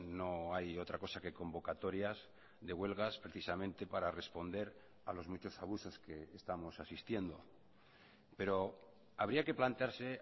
no hay otra cosa que convocatorias de huelgas precisamente para responder a los muchos abusos que estamos asistiendo pero habría que plantearse